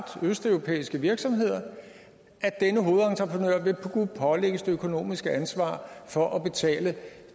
østeuropæiske virksomheder vil kunne pålægges det økonomiske ansvar for at betale